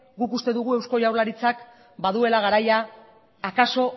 guk uste dugu eusko jaurlaritzak baduela garaia akaso